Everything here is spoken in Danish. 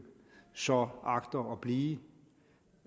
så agter at blive